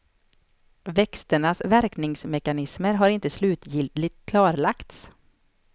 Växternas verkningsmekanismer har inte slutgiltigt klarlagts.